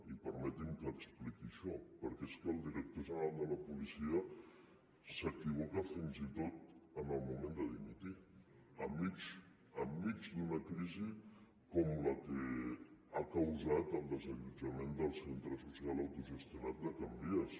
i permeti’m que expliqui això perquè és que el director general de la policia s’equivoca fins i tot en el moment de dimitir enmig d’una crisi com la que ha causat el desallotjament del centre social autogestionat de can vies